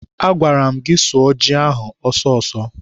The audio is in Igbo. Agwara m gị sụọ ji ahụ ọsọ ọsọ!